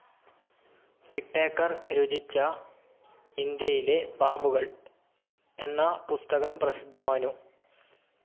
Whitaker രുചിചാ ഇന്ധ്യയിലെ പാമ്പുകൾ എന്നാ പുസ്തകം പ്രസിദ്ധമാനു.